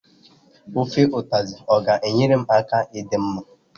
Ofe ụtazị ga enyere m aka ịdị mma?